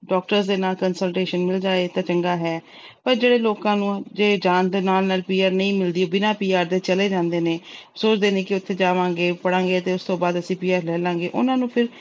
doctors ਦੇ ਨਾਲ consultation ਮਿਲ ਜਾਏ ਤਾਂ ਚੰਗਾ ਏ, ਪਰ ਜਿਹੜੇ ਲੋਕਾਂ ਨੂੰ ਜਾਣ ਦੇ ਨਾਲ-ਨਾਲ PR ਨਹੀਂ ਮਿਲਦੀ, ਬਿਨਾਂ PR ਦੇ ਚਲੇ ਜਾਂਦੇ ਨੇ, ਸੋਚਦੇ ਨੇ ਉਥੇ ਜਾਵਾਂਗੇ, ਪੜ੍ਹਾਂਗੇ, ਤੇ ਉਸ ਤੋਂ ਬਾਅਦ ਅਸੀਂ PR ਲੈ ਲਾਂਗੇ, ਉਹਨਾਂ ਨੂੰ ਫਿਰ